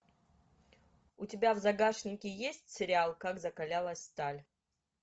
у тебя в загашнике есть сериал как закалялась сталь